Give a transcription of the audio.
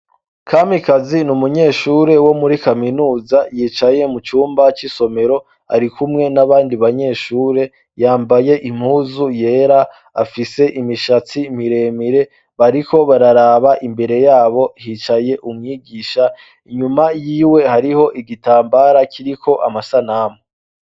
Kamikazi ni umunyeshuri wo muri kaminuza. Yicaye mu cumba c'isomero ari kumwe n'abandi banyeshure, yambaye impuzu yera, afise imishatsi miremire. Bariko bararaba imbere y'abo hicaye umwigisha. Inyuma y'iwe hariho igitambara kiriko amasanamu.